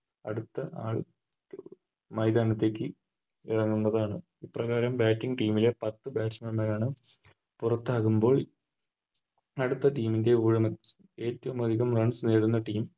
അടുത്ത ആൾ മൈതാനത്തേക്ക് ഇറങ്ങുന്നതാണ് ഇത്ര നേരം Bating team ലെ പത്ത് Basman മാരാണ് പുറത്താകുമ്പോൾ അടുത്ത Team ൻറെ ഏറ്റോം അതികം Runs നെടുന്ന Team